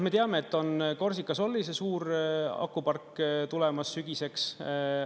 Me teame, et on Corsica Sole'i suur akupark tulemas, sügiseks.